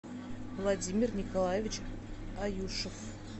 владимир николаевич аюшев